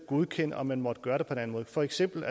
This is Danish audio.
godkende om man må gøre det på den måde for eksempel